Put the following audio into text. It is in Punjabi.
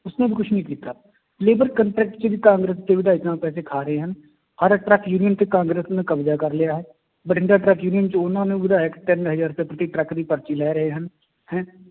ਉਸਨੇ ਵੀ ਕੁਛ ਨੀ ਕੀਤਾ labor contract ਚ ਵੀ ਕਾਂਗਰਸ ਦੇ ਵਿਧਾਇਕ ਪੈਸੇ ਖਾ ਰਹੇ ਹਨ, ਹਰ ਕਾਂਗਰਸ ਨੇ ਕਬਜ਼ਾ ਕਰ ਲਿਆ ਹੈ, ਬਠਿੰਡਾ ਟਰੱਕ union ਚ ਉਹਨਾਂ ਨੇ ਵਿਧਾਇਕ ਤਿੰਨ ਹਜ਼ਾਰ ਤੱਕ ਦੀ ਟਰੱਕ ਦੀ ਪਰਚੀ ਲੈ ਰਹੇ ਹਨ ਹੈਂ